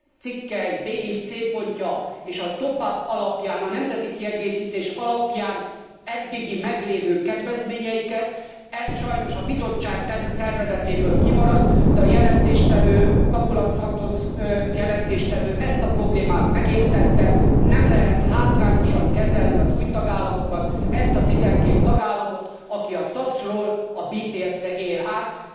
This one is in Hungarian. cikkely b és c pontja és a top up alapján, a nemzeti kiegészítés alapján eddigi meglévő kedvezményeiket. Ez sajnos a Bizottság tervezetéből kimaradt, de a jelentéstevő, Capoulas Santos ezt a problémát megértette. Nem lehet hátrányosan kezelni az új tagállamokat, ezt a 12 tagállamot, aki a SAPS ról a SPS re tér át.